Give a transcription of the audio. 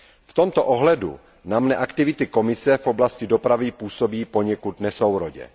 V tomto ohledu na mne aktivity Komise v oblasti dopravy působí poněkud nesourodě.